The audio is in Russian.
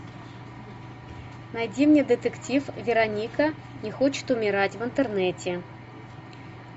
найди мне детектив вероника не хочет умирать в интернете